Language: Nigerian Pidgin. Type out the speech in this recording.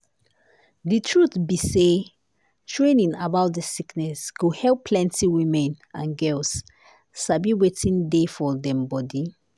di truth be say training about dis sickness go help plenty women and girls sabi wetin dey do dem for bodi.